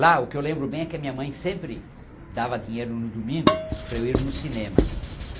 Lá, o que eu lembro bem é que a minha mãe sempre dava dinheiro no domingo para eu ir no cinema.